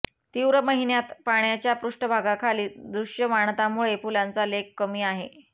तीव्र महिन्यांत पाण्याच्या पृष्ठभागाखाली दृश्यमानता मुळे फुलांच्या लेक कमी आहे